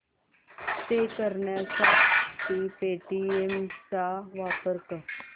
पे करण्यासाठी पेटीएम चा वापर कर